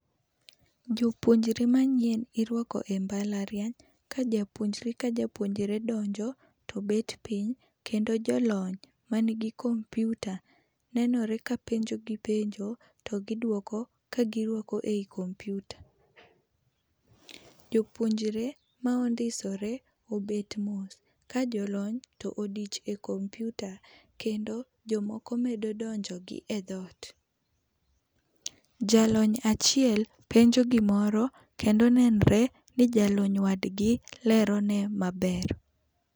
Jopuonjre manyien irwake e mbalariany, ka japuonjre ka japuonjre donjo to bet piny kendo jo lony ma ni gi kompyuta nenore ka penjo gi penjo to gi dwoko ka gi rwako ei kompyuta. jopuonjre ma ondisore obet mos, ka jolony to odich e kompyuta kendo jo moko medo donjo gi e dhot. Jalony achiel penjo gi moro kendo nenre ni jawad gi lero ne maber